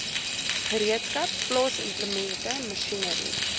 gereedskap plaasimplemente masjinerie